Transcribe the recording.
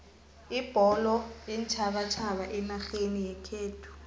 ibholo yeentjhabatjhaba enarheni yekhethu